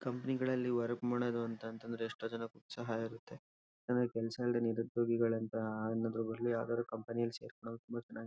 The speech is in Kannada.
ಕಂಪನಿ ಗಳಲ್ಲಿ ವರ್ಕ್ ಮಾಡೋದು ಅಂತ ಅಂತಂದ್ರೆ ಎಷ್ಟೋ ಜನಕ್ಕೆ ಉತ್ಸಾಹ ಇರುತ್ತೆ. ಯಾಕಂದ್ರೆ ಕೆಲಸ ಇಲ್ದೆ ನಿರುದ್ಯೋಗಿಗಳು ಅಂತ ಅನ್ನೋದ್ ಬದ್ಲು ಯಾವ್ದಾದ್ರೂ ಕಂಪನಿ ಯಲ್ಲಿ ಸೇರ್ಕೊಂಡ್ರೆ ತುಂಬಾ ಚೆನ್ನಾಗಿರುತ್ತೆ--